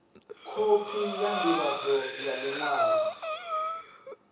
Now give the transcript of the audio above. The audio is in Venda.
khophi ya ndivhadzo ya liṅwalo